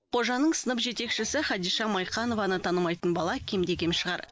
қожаның сынып жетекшісі хадиша майқанованы танымайтын бала кем де кем шығар